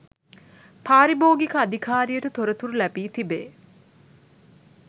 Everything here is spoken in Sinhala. පාරිභෝගික අධිකාරියට තොරතුරු ලැබී තිබේ